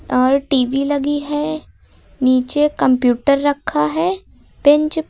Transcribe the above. और टी_वी लगी है नीचे कंप्यूटर रखा है बेंच पे।